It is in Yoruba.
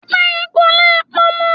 Pẹ́pẹ́yẹ́ kò le pọnmọ.